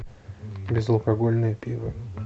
безалкогольное пиво